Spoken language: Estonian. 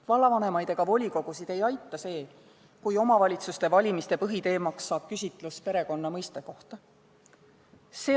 Vallavanemaid ja volikogusid ei aita see, kui omavalitsuste valimiste põhiteemaks saab küsitlus perekonna mõiste kohta.